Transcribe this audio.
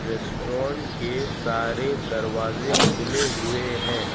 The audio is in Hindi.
रेस्टोरेंट के सारे दरवाजे खुले हुए हैं।